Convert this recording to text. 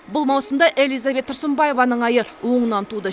бұл маусымда элизабет тұрсынбаеваның айы оңынан туды